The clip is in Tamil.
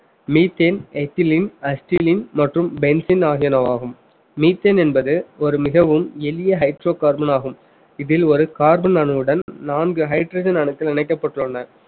methane, ethylene மற்றும் penicin ஆகியனவாகும் methane என்பது ஒரு மிகவும் எளிய hydrocarbon ஆகும் இதில் ஒரு carbon அணுவுடன் நான்கு hydrogen அணுக்கள் இணைக்கப்பட்டுள்ளன